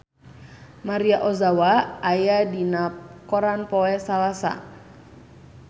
Maria Ozawa aya dina koran poe Salasa